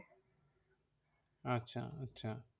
আচ্ছা আচ্ছা